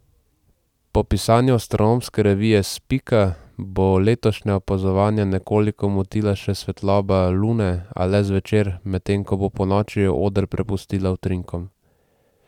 Po pisanju astronomske revije Spika bo letošnja opazovanja nekoliko motila še svetloba Lune, a le zvečer, medtem ko bo ponoči oder prepustila utrinkom.